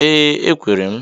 Ee ekwere m.